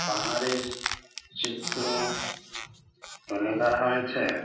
পাহাড়ের চিত্র তুলে ধরা হয়েছে।